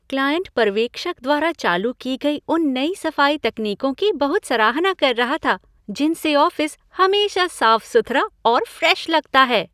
Client पर्यवेक्षक द्वारा चालू की गई उन नई सफाई तकनीकों की बहुत सराहना कर रहा था जिनसे ऑफिस हमेशा साफ सुथरा और फ्रेश लगता है।